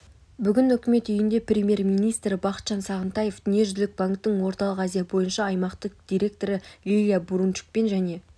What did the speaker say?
бүгін үкімет үйінде премьер-министрі бақытжан сағынтаев дүниежүзілік банктің орталық азия бойынша аймақтық директоры лилия бурунчукпен және